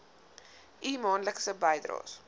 u maandelikse bydraes